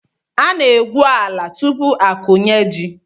A na-egwu ala tupu akụnye ji.